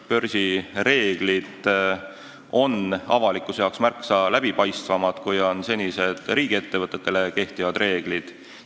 Börsi reeglid on avalikkusele märksa läbipaistvamad, kui on senised riigiettevõtetele kehtivad reeglid.